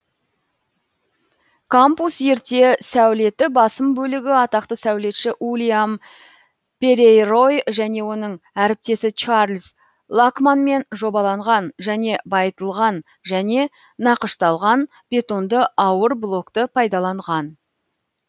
кампус ерте сәулеті басым бөлігі атақты сәулетші ульям перейрой және оның әріптесі чарльз лакманмен жобаланған және байытылған және нақышталған бетонды ауыр блокты пайдаланған